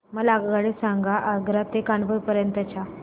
मला आगगाडी सांगा आग्रा ते कानपुर पर्यंत च्या